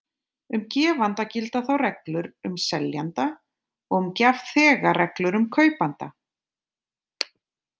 Um gefanda gilda þá reglur um seljanda og um gjafþega reglur um kaupanda.